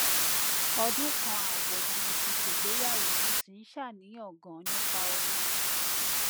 ọdún kan ààbọ ni mo ti ṣègbéyàwó mo sì ń ṣàníyàn ganan nípa oyún